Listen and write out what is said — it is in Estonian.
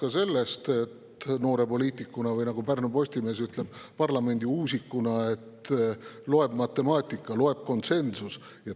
Aga samas olen ma noore poliitikuna, või nagu Pärnu Postimees ütleb, parlamendiuusikuna aru saanud ka sellest, et loeb matemaatika, loeb konsensus.